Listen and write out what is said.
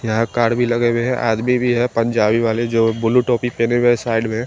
यहाँ काड़ भी लगे हुए हैं आदमी भी हैं पंजाबी वाले जो ब्लू टोपी पहने हुए है साइड में--